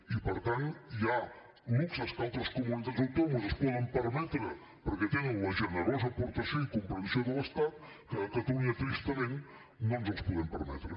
i per tant hi ha luxes que altres comunitats autònomes es poden permetre perquè tenen la generosa aportació i comprensió de l’estat que a catalunya tristament no ens els podem permetre